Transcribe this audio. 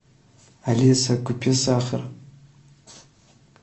алиса купи сахар